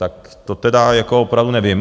Tak to tedy jako opravdu nevím.